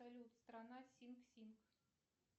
салют страна синг синг